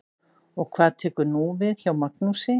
Og hvað tekur nú við hjá Magnúsi?